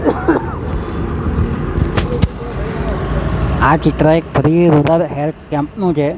આ ચિત્ર એક હેલ્થ કેમ્પ નુ છે.